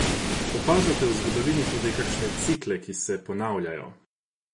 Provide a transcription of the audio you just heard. Opažate v zgodovini tudi kakšne cikle, ki se ponavljajo?